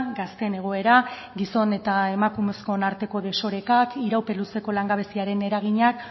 gazteen egoera gizon eta emakumezkoen arteko desorekak iraupen luzeko langabeziaren eragina